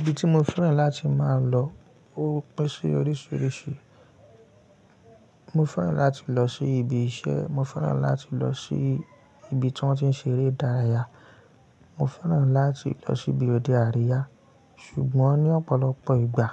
Ibi tí mo fẹ́ràn láti máa lọ ó pin sí oríṣiríṣi. Mo fẹ́ràn láti lọ sí ibi iṣẹ́, mo fẹ́ràn láti lọ sí ibi tí wọ́n ti ń ṣeré dárayà, mo fẹ́ràn láti lọ sí ibi òde àríyá. Ṣùgbọ́n ní ọ̀pọ̀lọpọ̀ ìgbà,